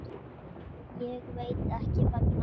Ég veit ekki vegna hvers.